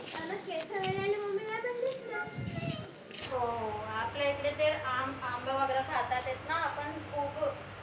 हो आपल्या इकडे ते आंबा वगैरे खातातायत ना आपन खूप